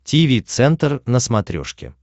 тиви центр на смотрешке